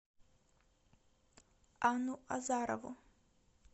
анну азарову